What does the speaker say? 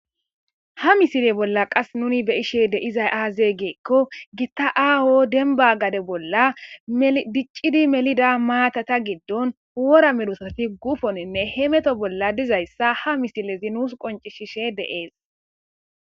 ha misile bolla qas nuni be ishe de izay aazeegeekko gitta aaho denba gade bolla diccidi melida maatata giddon wora mirusafi gufoninne he meto bolla dizayssa ha misilezi nuus qoncishishe deees